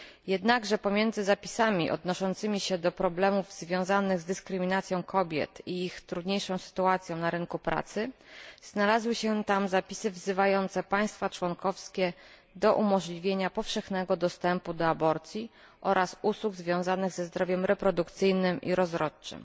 Jednakże pomiędzy zapisami odnoszącymi się do problemów związanych z dyskryminacją kobiet i ich trudniejszą sytuacją na rynku pracy znalazły się tam zapisy wzywające państwa członkowskie do umożliwienia powszechnego dostępu do aborcji oraz usług związanych ze zdrowiem reprodukcyjnym i rozrodczym.